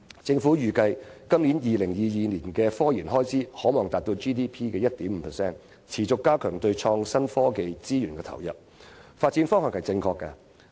政府預計本港在2022年的科研開支可望達到本地生產總值的 1.5%， 持續加強對創新科技資源的投入，是正確的發展方向。